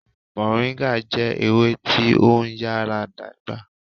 Moringa jẹ ewe ti o nyara dagba